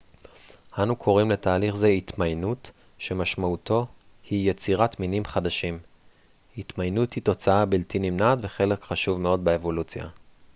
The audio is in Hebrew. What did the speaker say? אנו קוראים לתהליך זה התמיינות שמשמעותו היא יצירת מינים חדשים התמיינות היא תוצאה בלתי נמנעת וחלק חשוב מאוד באבולוציה